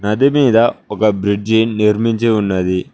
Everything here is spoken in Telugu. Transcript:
నది మీద ఒక బ్రిడ్జి నిర్మించి ఉన్నది.